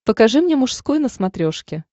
покажи мне мужской на смотрешке